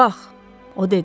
Bax, o dedi.